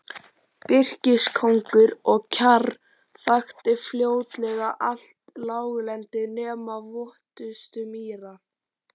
Birkiskógur og kjarr þakti fljótlega allt láglendi nema votustu mýrar.